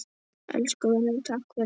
Elsku vinur, takk fyrir allt.